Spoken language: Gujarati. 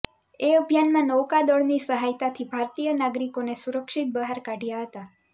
તે અભિયાનમાં નૌકાદળની સહાયતાથી ભારતીય નાગરિકોને સુરક્ષિત બહાર કાઢયા હતા